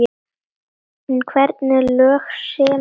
En hvernig lög semur hann?